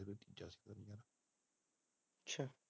ਅ੍ਰਛਾ